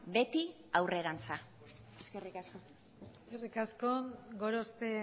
beti aurrerantz eskerrik asko eskerrik asko gorospe